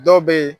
Dɔw bɛ yen